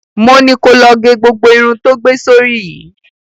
Mo ni ko lọ ge gbogbo irun tó gbé sórí yìí!